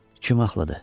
Kim ağıllıdır?